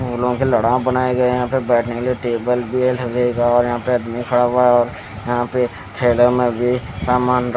फूलो के लड़ा बनाए गए हैं यहां पे बैठने के लिए टेबल भी लगेगा और यहां पे आदमी खड़ा हुआ है और यहां पे थैला में भी सामान र --